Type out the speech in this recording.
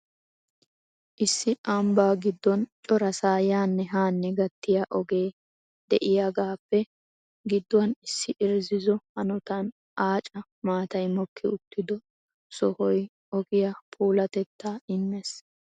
Issi ambba giddon corasa yanne hanne gattiya ogee de'iyaagappe gidduwan issi irzzizzo hanotan aacca maatay mokki uttido sohoy ogiyaa puulatettta immees.